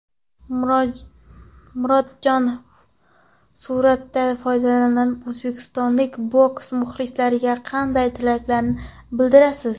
Murodjon, fursatdan foydalanib o‘zbekistonlik boks muxlislariga qanday tilaklar bildirasiz?